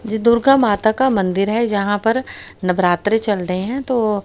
ये दुर्गा माता का मंदिर है जहां पर नवरात्रि चल रहे हैं तो--